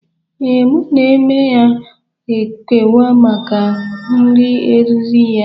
Ee, mụ na Eme ga ekewa maka nri riri ya.